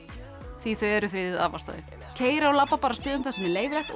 því þau eru friðuð af ástæðu keyra og labba á stöðum þar sem er leyfilegt og